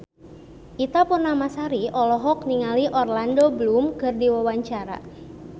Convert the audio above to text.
Ita Purnamasari olohok ningali Orlando Bloom keur diwawancara